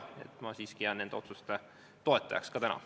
Nii et ma siiski jään nende otsuste toetajaks ka täna.